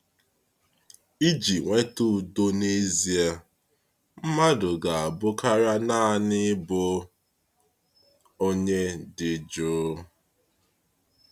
Iji nweta udo n’ezie, mmadụ ga-abụ karịa naanị ịbụ onye dị jụụ.